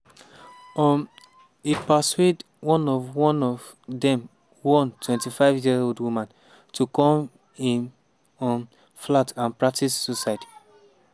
um e persuade one of one of dem one 25-year-old woman to come im um flat and "practise" suicide.